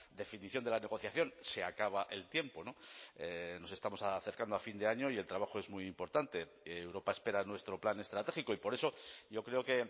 definición de la negociación se acaba el tiempo nos estamos acercando a fin de año y el trabajo es muy importante europa espera nuestro plan estratégico y por eso yo creo que